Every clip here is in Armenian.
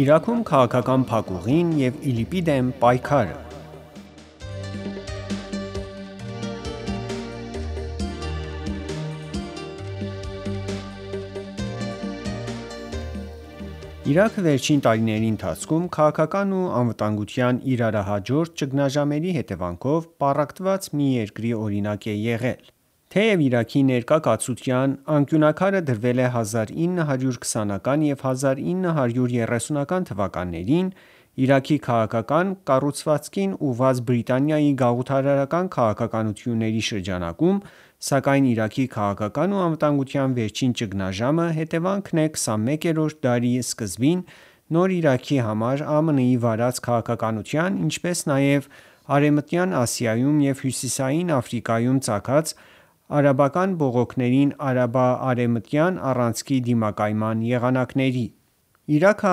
Իրաքում քաղաքական փակուղին և ԻԼԻՊ-ի դեմ պայքարը Իրաքը վերջին տարիների ընթացքում քաղաքական ու անվտանգության իրարահաջորդ ճգնաժամերի հետևանքով պառակտված մի երկրի օրինակ է եղել: Թեև Իրաքի ներկա կացության անկյունաքարը դրվել է 1920-ական ու 1930-ական թվականներին՝ Իրաքի քաղաքական կառուցվածքին ուղղված Բրիտանիայի գաղութարարական քաղաքականությունների շրջանակում, սակայն Իրաքի քաղաքական ու անվտանգության վերջին ճգնաժամը հետևանքն է 21-րդ դարի սկզբին նոր Իրաքի համար ԱՄՆ-ի վարած քաղաքականության, ինչպես նաև արևմտյան Ասիայում ու հյուսիսային Աֆրիկայում ծագած արաբական բողոքներին արաբա-արևմտյան առանցքի դիմակայման եղանակների: Իրաքը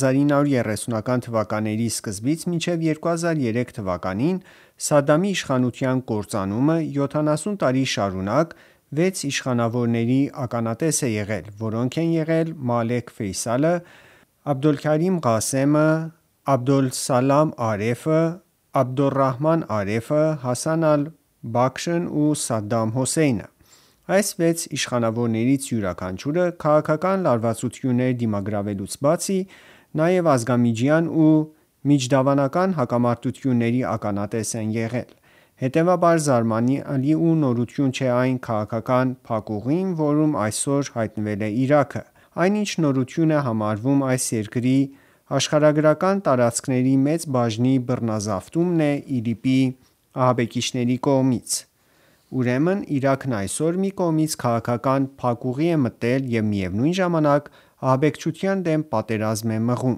1930-ական թվականների սկզբից մինչև 2003 թվականին Սադդամի իշխանության կործանումը, 70 տարի շարունակ, վեց իշխանավորների ականատես է եղել, որոնք են եղել Մալեք Ֆեյսալը, Աբդոլքարիմ Ղասեմը, Աբդոլսալամ Արեֆը, Աբդոլռահման Արեֆը, Հասան Ալ-Բաքրն ու Սադդամ Հոսեյնը: Այս վեց իշխանավորներից յուրաքանչյուրը քաղաքական լարվածություններ դիմագրավելուց բացի նաև ազգամիջյան ու միջդավանական հակամարտությունների ականատես է եղել: Հետևաբար զարմանալի ու նորություն չէ այն քաղաքական փակուղին որում այսօր հայտնվել է Իրաքը: Այն ինչ նորություն է համարվում այս երկրի աշխարհագրական տարածքների մեծ բաժնի բռնազավթումն է ԻԼԻՊ-ի ահաբեկիչների կողմից: Ուրեմն Իրաքն այսօր մի կողմից քաղաքական փակուղի է մտել և միևնույն ժամանակ ահաբեկչության դեմ պատերազմ է մղում: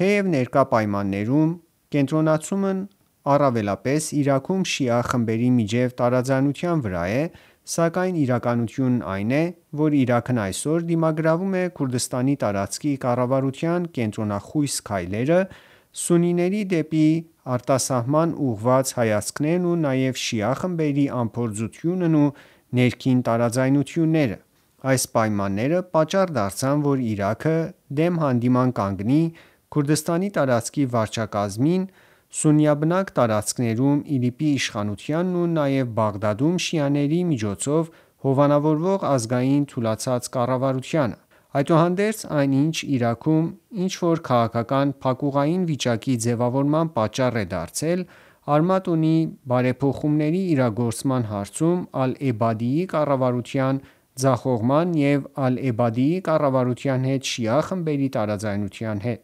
Թեև ներկա պայմաններում կենտրոնացումն առավելապես Իրաքում շիա խմբերի միջև տարաձայնության վրա է, սակայն իրականությունն է այն է, որ Իրաքն այսօր դիմագրավում է Քուրդստանի տարածքի կառավարության կենտրոնախույս քայլերը, սուննիների դեպի արտասահման ուղղված հայացքներն ու նաև շիա խմբերի անփորձությունն ու ներքին տարաձայնությունները: Այս պայմանները պատճառ դարձան, որ Իրաքը դեմ հանդիման կանգնի Քուրդստանի տարածքի վարչակազմին, սուննիաբնակ տարածքներում ԻԼԻՊ-ի իշխանությանն ու նաև Բաղդադում՝ շիաների միջոցով հովանավորվող ազգային թուլացած կառավարությանը: Այդուհանդերձ այն ինչ Իրաքում ինչ-որ քաղաքական փակուղային վիճակի ձևավորման պատճառ է դարձել արմատ ունի բարեփոխումների իրագործման հարցում Ալ-Էբադիի կառավարության ձախողման և Ալ-Էբադիի կառավարության հետ շիա խմբերի տարաձայնության մեջ: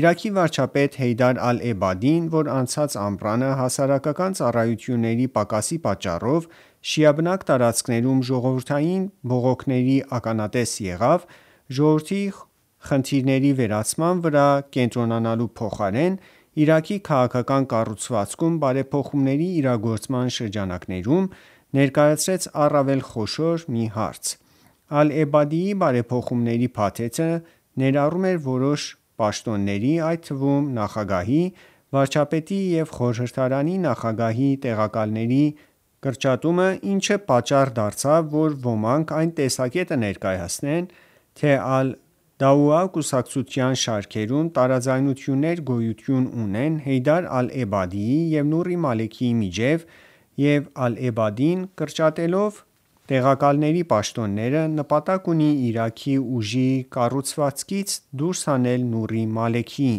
Իրաքի վարչապետ Հեյդար Ալ-Էբադին, որ անցած ամռանը հասարակական ծառայությունների պակասի պատճառով շիաբնակ տարածքներում ժողովրդային բողոքների ականատես եղավ, ժողովրդի խնդիրների վերացման վրա կենտրոնանալու փոխարեն, Իրաքի քաղաքական կառուցվածքում բարեփոխումների իրագործման շրջանակներում ներկայացրեց առավել խոշոր մի հարց: Ալ-Էբադիի բարեփոխումների փաթեթը ներառում էր որոշ պաշտոնների, այդ թվում նախագահի, վարչապետի ու խորհրդարանի նախագահի տեղակալների կրճատումը, ինչը պատճառ դարձավ, որ ոմանք այն տեսակետը ներկայացնեն, թե «Ալ-Դաուա» կուսակցության շարքերում տարաձայնություններ գոյություն ունեն Հեյդար Ալ-Էբադիի և Նուրի Մալեքիի միջև և Ալ-Էբադին կրճատելով տեղակալների պաշտոնները նպատակ ունի Իրաքի ուժի կառուցվածքից դուրս հանել Նուրի Մալեքիին: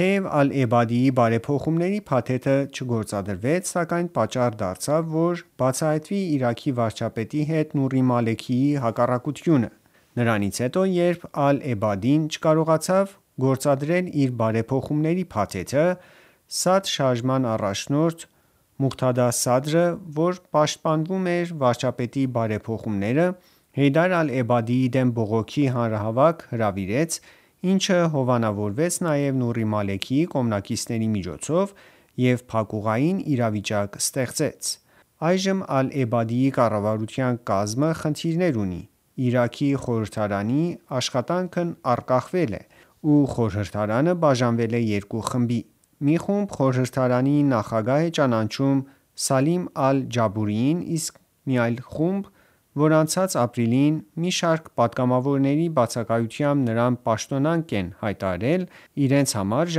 Թեև Ալ-Էբադիի բարեփոխումների փաթեթը չգործադրվեց, սակայն պատճառ դարձավ, որ բացահայտվի Իրաքի վարչապետի հետ Նուրի Մալեքիի հակառակությունը: Նրանից հետո երբ Ալ-Էբադին չկարողացավ գործադրել իր բարեփոխումների փաթեթը, «Սադր» շարժման առաջնորդ Մուղթադա Սադրը, որ պաշտպանում էր վարչապետի բարեփոխումները, Հեյդար Ալ-Էբադիի դեմ բողոքի հանրահավաք հրավիրեց, ինչը հովանավորվեց նաև Նուրի Մալեքիի կողմնակիցների միջոցով և փակուղային իրավիճակ ստեղծեց: Այժմ Ալ-Էբադիի կառավարության կազմը խնդիրներ ունի, Իրաքի խորհրդարանի աշխատանքն առկախվել է ու խորհրդարանը բաժանվել է երկու խմբի: Մի խումբ խորհրդարանի նախագահ է ճանաչում Սալիմ Ալ-Ջաբուրիին, իսկ մի այլ խումբ, որ անցած ապրիլին մի շարք պատգամավորների բացակայությամբ նրան պաշտոնանկ են հայտարարել, իրենց համար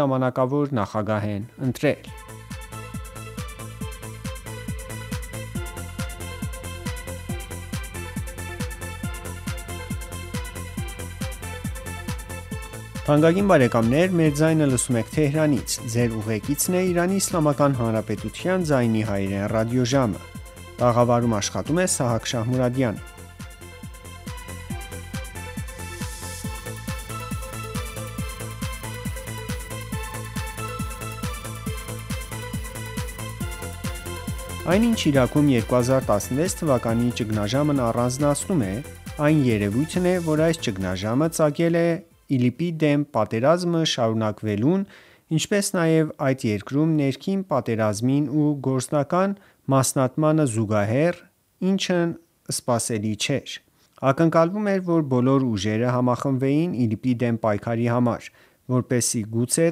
ժամանակավոր նախագահ են ընտրել: Այն ինչ Իրաքում 2016 թվականի ճգնաժամն առանձնացնում է, այն երևույթն է, որ այս ճգնաժամը ծագել է ԻԼԻՊ-ի դեմ պատերազմը շարունակվելուն, ինչպես նաև այդ երկրում ներքին պատերազմին ու գործնական մասնատմանը զուգահեռ, ինչն սպասելի չէր: Ակնկալվում էր, որ բոլոր ուժերը համախմբվեին ԻԼԻՊ-ի դեմ պայքարի համար, որպեսզի գուցե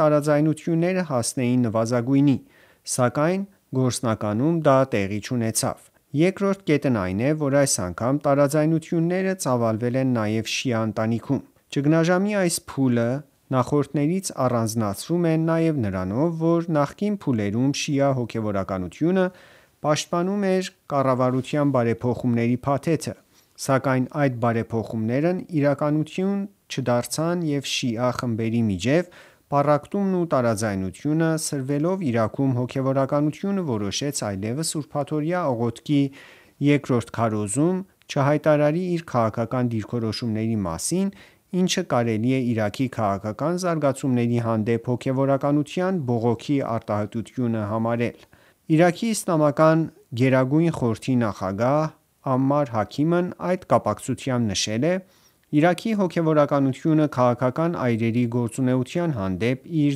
տարաձայնությունները հասնեին նվազագույնի, սակայն գործնականում դա տեղի չունեցավ: Երկրորդ կետն այն է, որ այս անգամ տարաձայնությունները ծավալվել են նաև շիա ընտանիքում: Ճգնաժամի այս փուլը նախորդներից առանձնացվում է նաև նրանով, որ նախկին փուլերում շիա հոգևորականությունը պաշտպանում էր կառավարության բարեփոխումների փաթեթը, սակայն այդ բարեփոխումներն իրականություն չդառնալով և շիա խմբերի միջև պառակտումն ու տարաձայնությունը սրվելով Իրաքում հոգևորականությունը որոշեց այլևս ուրբաթօրյա աղոթքի երկրորդ քարոզում չհայտարարի իր քաղաքական դիրքորոշումների մասին, ինչը կարելի է Իրաքի քաղաքական զարգացումների հանդեպ հոգևորականության բողոքի արտահայտությունը համարել: Իրաքի Իսլամական գերագույն խորհրդի նախագահ Ամմար Հաքիմն այդ կապակցությամբ նշել է. «Իրաքի հոգևորականությունը, քաղաքական այրերի գործունեության հանդեպ իր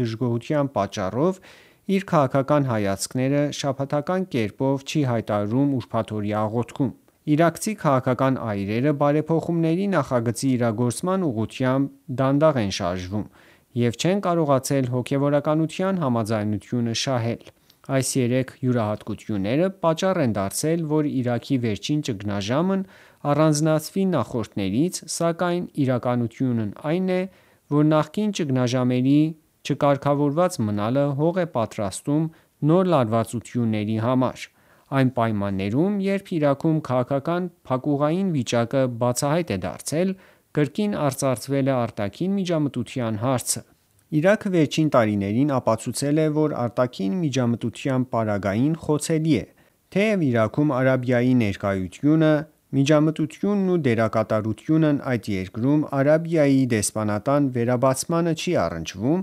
դժգոհության պատճառով իր քաղաքական հայացքները շաբաթական կերպով չի հայտարարում ուրբաթօրյա աղոթքում: Իրաքցի քաղաքական այրերը բարեփոխումների նախագծի իրագործման ուղղությամբ դանդաղ են շարժվում և չեն կարողացել հոգևորականության համաձայնությունը շահել»: Այս երեք յուրահատկությունները պատճառ են դարձել, որ Իրաքի վերջին ճգնաժամն առանձնացվի նախորդներից, սակայն իրականությունն այն է, որ նախկին ճգնաժամերի չկարգավորված մնալը հող է պատրաստում նոր լարվածությունների համար: Այն պայմաններում երբ Իրաքում քաղաքական փակուղային վիճակը բացահայտ է դարձել, կրկին արծարծվել է արտաքին միջամտության հարցը: Իրաքը վերջին տարիներին ապացուցել է, որ արտաքին միջամտության պարագային խոցելի է: Թեև Իրաքում Արաբիայի ներկայությունը, միջամտությունն ու դերակատարությունն այդ երկրում Արաբիայի դեսպանատան վերաբացմանը չի առնչվում,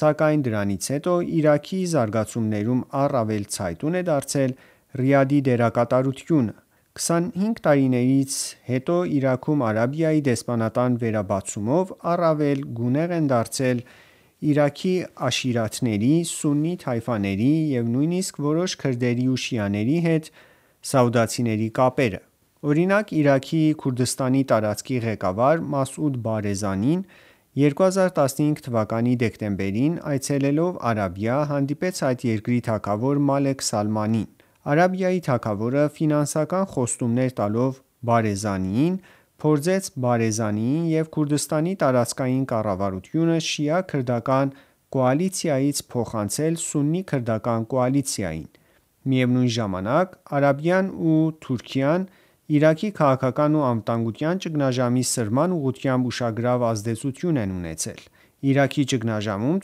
սակայն դրանից հետո Իրաքի զարգացումներում առավել ցայտուն է դարձել Ռիադի դերակատարությունը: 25 տարիներից հետո Իրաքում Արաբիայի դեսպանատան վերաբացումով առավել գունեղ են դարձել Իրաքի աշիրեթների, սուննի թայֆանների ու նույնիսկ որոշ քրդերի ու շիաների հետ սաուդացիների կապերը: Օրինակ Իրաքի Քուրդստանի տարածքի ղեկավար Մասուդ Բարզանին 2015 թվականի դեկտեմբերին այցելելով Արաբիա հանդիպեց այդ երկրի թագավոր Մալեք Սալմանին: Արաբիայի թագավորը ֆինանսական խոստումներ տալով Բարզանիին փորձեց Բարզանիին ու Քուրդստանի տարածքային կառավարությանը շիա-քրդական կոալիցիայից փոխանցել սուննի-քրդական կոալիցիային: Միևնույն ժամանակ Արաբիան ու Թուրքիան Իրաքի քաղաքական ու անվտանգության ճգնաժամի սրման ուղղությամբ ուշագրավ ազդեցություն են ունեցել: Իրաքի ճգնաժամում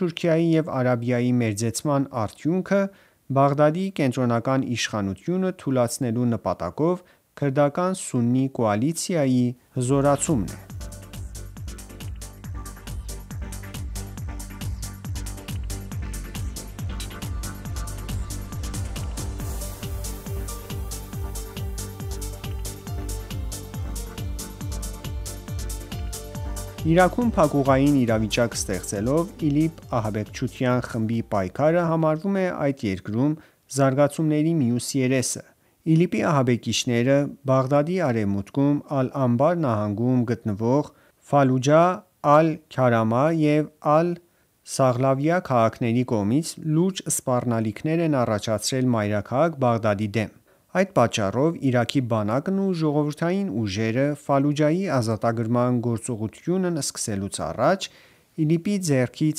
Թուրքիայի ու Արաբիայի մերձեցման արդյունքը Բաղդադի կենտրոնական իշխանությունը թուլացնելու նպատակով քրդական-սուննի կոալիցիայի հզորացումն է: Իրաքում փակուղային իրավիճակ ստեղծվելով ԻԼԻՊ-ի ահաբեկչության դեմ պայքարը համարվում է այդ երկրի զարգացումների մյուս երեսը: ԻԼԻՊ-ի ահաբեկիչները Բաղդադի արևմուտքում՝ Ալ-Անբար նահանգում գտնվող Ֆալուջա, Ալ-Քյարամա և Ալ-Սաղլավիա քաղաքների կողմից լուրջ սպառնալիքներ են առաջացրել մայրաքաղաք Բաղդադի դեմ: Այդ պատճառով Իրաքի բանակն ու ժողովրդային ուժերը Ֆալուջայի ազատագրման գործողությունն սկսելուց առաջ ԻԼԻՊ-ի ձեռքից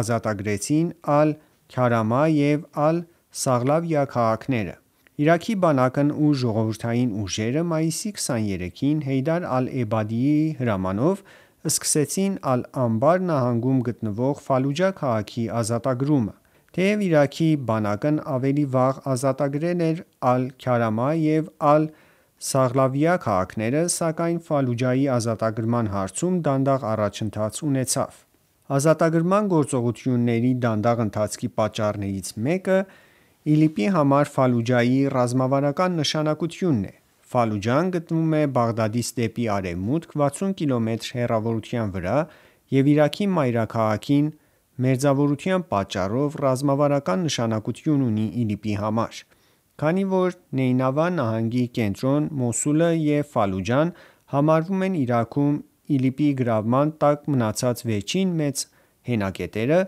ազատագրեցին Ալ-Քյարամա և Ալ-Սաղլավիա քաղաքները: Իրաքի բանակն ու ժողովրդային ուժերը մայիսի 23-ին Հեյդար Ալ-Էբադիի հրահանգով սկսեցին Ալ-Անբար նահանգում գտնվող Ֆալուջա քաղաքի ազատագրումը: Թեև Իրաքի բանակն ավելի վաղ ազատագրել էր Ալ-Քյարամա և Ալ-Սաղլավիա քաղաքները, սակայն Ֆալուջայի ազատագրման հարցում դանդաղ առաջընթաց ունեցավ: Ազատագրման գործողությունների դանդաղ ընթացքի պատճառներից մեկը ԻԼԻՊ-ի համար Ֆալուջայի ռազմավարական նշանակությունն է: Ֆալուջան գտնվում է Բաղդադից դեպի արևմուտք 60կմ հեռավորության վրա և Իրաքի մայրաքաղաքին մերձավորության պատճառով ռազմավարական նշանակություն ունի ԻԼԻՊ-ի համար: Քանի որ Նեյնավա նահանգի կենտրոն Մոսուլը և Ֆալուջան համարվում են Իրաքում ԻԼԻՊ-ի գրավման տակ մնացած վերջին մեծ հենակները,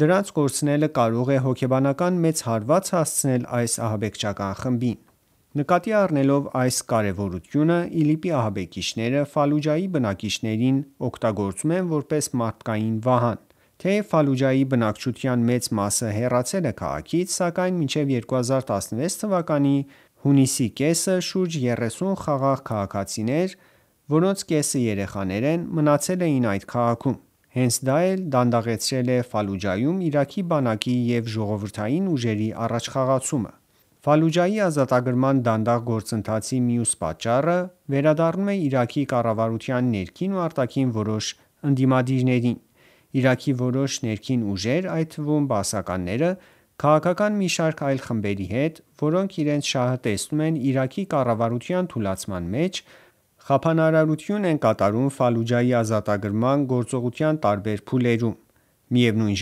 դրանց կորցնելը կարող է հոգեբանական մեծ հարված հասցնել այս ահաբեկչական խմբին: Նկատի առնելով այս կարևորությունը ԻԼԻՊ-ի ահաբեկիչները Ֆալուջայի բնակիչներին օգտագործում են, որպես մարդկային վահան: Թեև Ֆալուջայի բնակչության մեծ մասը հեռացել է քաղաքից, սակայն մինչև 2016 թվականի հունիսի կեսերը շուրջ 30 խաղաղ քաղաքացիներ, որոնց կեսը երեխաներ են, մնացել էին այդ քաղաքում: Հենց դա էլ դանդաղեցրել է Ֆալուջայում Իրաքի բանակի ու ժողովրդային ուժերի առաջխաղացումը։ Ֆալուջայի ազատագրման դանդաղ գործընթացի մյուս պատճառը վերադառնում է Իրաքի կառավարության ներքին ու արտաքին որոշ ընդդիմադիրներին: Իրաքի որոշ ներքին ուժեր, այդ թվում բաասականները, քաղաքական մի շարք այլ խմբերի հետ, որոնք իրենց շահը տեսնում են Իրաքի կառավարության թուլացման մեջ խափանարարություն են կատարում Ֆալուջայի ազատագրման գործողության տարբեր փուլերում: Միևնույն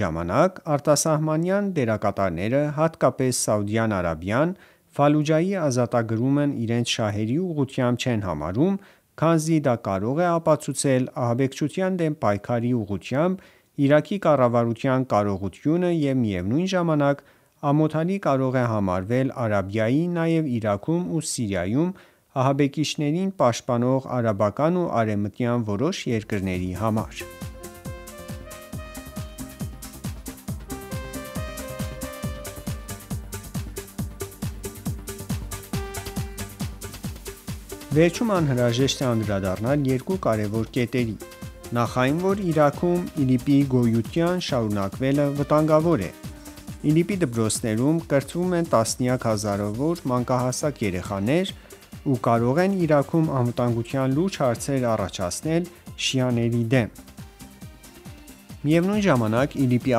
ժամանակ արտասահմանյան դերակատարները, հատկապես Սաուդյան Արաբիան, Ֆալուջայի ազատագրումն իրենց շահերի ուղղությամբ չեն համարում, քանզի դա կարող է ապացուցել ահաբեկչության դեմ պայքարի ուղղությամբ Իրաքի կառավարության կարողությունը և միևնույն ժամանակ ամոթալի կարող է համարվել Արաբիայի, նաև Իրաքում ու Սիրիայում ահաբեկիչներին պաշտպանող արաբական ու արևմտյան որոշ երկրների համար: Վերջում անհրաժեշտ է անդրադառնալ երկու կարևոր կետերի։ Նախ այն որ Իրաքում ԻԼԻՊ-ի գոյության շարունակվելը վտանգավոր է: ԻԼԻՊ-ի դպրոցներում կրթվում են տասնյակ հազարավոր մանկահասակ երեխաներ ու կարող են Իրաքում անվտանգության լուրջ հարցեր առաջացնել շիաների դեմ: Միևնույն ժամանակ ԻԼԻՊ-ի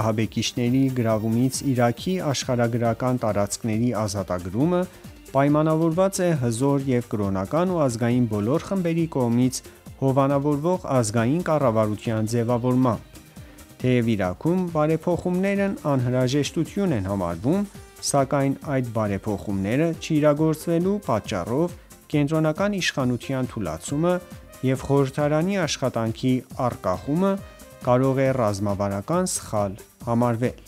ահաբեկիչների գրավումից Իրաքի աշխարհագրական տարածքների ազատագրումը պայմանավորված է հզոր և կրոնական ու ազգային բոլոր խմբերի կողմից հովանավորվող ազգային կառավարության ձևավորմամբ: Թեև Իրաքում բարեփոխումներն անհրաժեշտություն են համարվում, սակայն այդ բարեփոխումները չիրագործվելու պատճառով Կենտրոնական իշխանության թուլացումը և խորհրդարանի աշխատանքի առկախումը կարող է ռազմավարական սխալ համարվել: